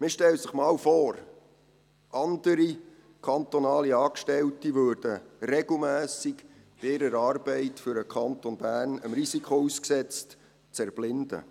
Man stelle sich einmal vor, andere kantonale Angestellte würden regelmässig bei ihrer Arbeit für den Kanton Bern dem Risiko ausgesetzt, zu erblinden.